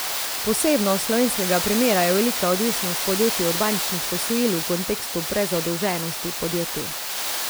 Posebnost slovenskega primera je velika odvisnost podjetij od bančnih posojil v kontekstu prezadolženosti podjetij.